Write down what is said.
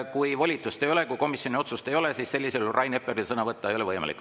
Kui volitust ei ole, kui komisjoni otsust ei ole, siis sellisel juhul Rain Epleril sõna võtta ei ole võimalik.